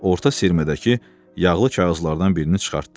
Orta sürmədəki yağlı kağızlardan birini çıxartdı.